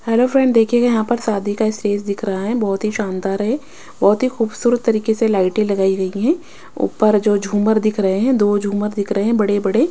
Hello friend देखिएगा यहां पर सादी का स्टेज दिख रहा है बहुत ही शानदार है बहुत ही खूबसूरत तरीके से लाइटें लगाई गई हैं ऊपर जो झूमर दिख रहे हैं दो झूमर दिख रहे हैं बड़े-बड़े।